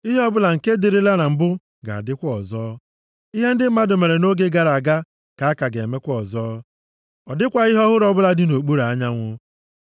Ihe ọbụla nke dịrịla na mbụ ga-adịkwa ọzọ. Ihe ndị mmadụ mere nʼoge gara aga ka a ga-emekwa ọzọ. Ọ dịkwaghị ihe ọhụrụ ọbụla dị nʼokpuru anyanwụ.